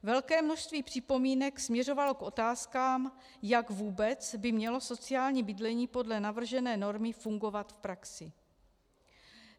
Velké množství připomínek směřovalo k otázkám, jak vůbec by mělo sociální bydlení podle navržené normy fungovat v praxi.